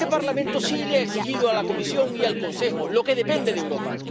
Pero este Parlamento sí le ha exigido a la Comisión y al Consejo lo que depende de Europa.